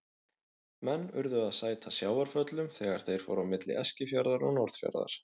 Menn urðu að sæta sjávarföllum þegar þeir fóru á milli Eskifjarðar og Norðfjarðar.